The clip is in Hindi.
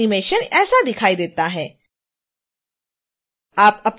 हमारा लोगो एनीमेशन ऐसा दिखाई देता है